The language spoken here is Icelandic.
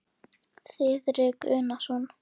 Þiðrik Unason.